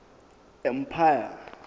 empire